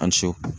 An ni ce